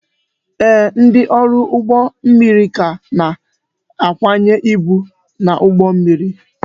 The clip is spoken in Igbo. Ee, ndị ọrụ ụgbọ mmiri ka na-akwanye ibu n'ụgbọ mmiri